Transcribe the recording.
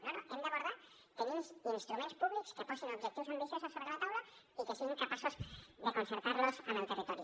no no ho hem d’abordar tenim instruments públics que posin objectius ambiciosos sobre la taula i que siguin capaços de concertar los amb el territori